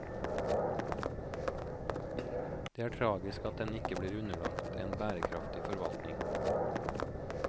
Det er tragisk at den ikke blir underlagt en bærekraftig forvaltning.